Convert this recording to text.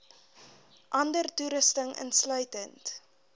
ander toerusting insluitend